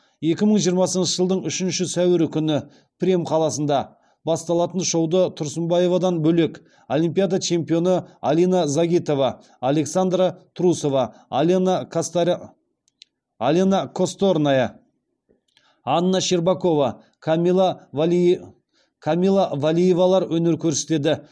екі мың жиырмасыншы жылдың үшінші сәуірі күні премь қаласында басталатын шоуды тұрсынбаевадан бөлек олимпиада чемпионы алина загитова александра трусова алена косторная анна щербакова камила валиевалар өнер көрсетеді